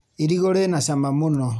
Irigũ rĩna cama mũno.